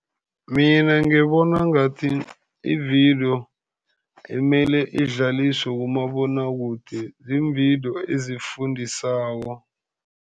Mina ngibona ngathi ividiyo emele idlaliswe kumabonwakude ziimvidiyo ezifundisako.